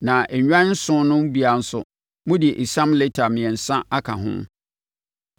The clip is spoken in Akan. na nnwan nson no biara nso, mode esiam lita mmiɛnsa aka ho.